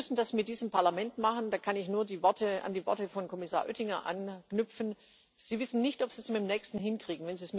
Sie müssen das mit diesem Parlament machen, da kann ich nur an die Worte von Kommissar Oettinger anknüpfen Sie wissen nicht, ob Sie es mit dem nächsten hinkriegen.